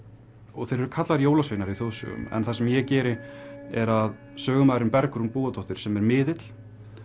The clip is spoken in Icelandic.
og þeir eru kallaðir jólasveinar í þjóðsögum en það sem ég geri er að sögumaðurinn Bergrún Búadóttir sem er miðill